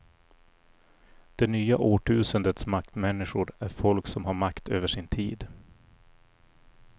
Det nya årtusendets maktmänniskor är folk som har makt över sin tid.